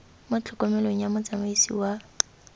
mo tlhokomelong ya motsamaisi wa